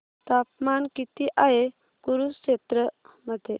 तापमान किती आहे कुरुक्षेत्र मध्ये